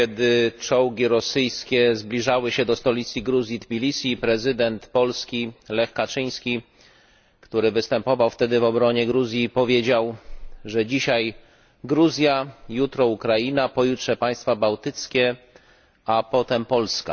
kiedy czołgi rosyjskie zbliżały się do stolicy Gruzji Tbilisi, prezydent Polski Lech Kaczyński, który występował wtedy w obronie Gruzji, powiedział, że dzisiaj Gruzja, jutro Ukraina, pojutrze państwa bałtyckie, a potem Polska.